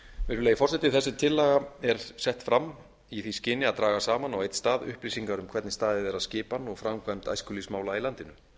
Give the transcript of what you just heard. virðulegi forseti þessi tillaga er sett fram í því skyni að draga saman á einn stað upplýsingar um hvernig staðið er að skipan og framkvæmd æskulýðsmála í landinu það